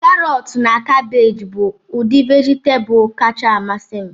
Karọtu na kabeeji bụ udi vejitabulu kacha amasị m